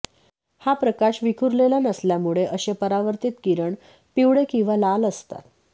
हा प्रकाश विखुरलेला नसल्यामुळे असे परावर्तीत किरण पिवळे किंवा लाल असतात